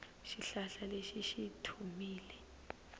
xihlahla lexi xi tlhumile